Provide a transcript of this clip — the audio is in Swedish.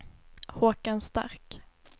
Håkan Stark